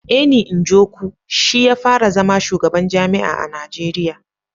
Eni Njoku shi ya fara zama shugaban jami'a a Najeriya